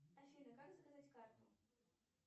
афина как заказать карту